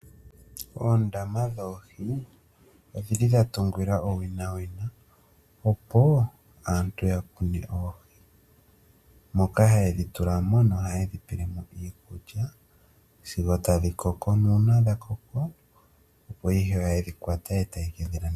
Oondama dhoohi oshili dha tungilwa owina wina opo aantu ya kune oohi moka haye dhi tulamo no haye dhi pelemo iikulya sigo tadhi koko nuuna dha koko opo ihe haye dhi kwata etaye kedhi landitha po.